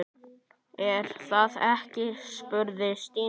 Er það ekki? spurði Stína.